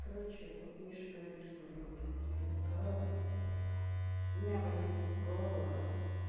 короче вот миша говорит что у него бронхит либо корона у меня болит горло